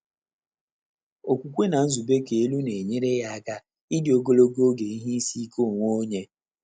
Ókwúkwé nà nzùbé kà èlú nà-ényéré yá áká ídí ògòlògò ògé ìhè ísí íké ónwé ọ́nyé.